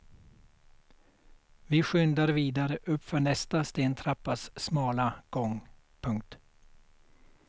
Vi skyndar vidare uppför nästa stentrappas smala gång. punkt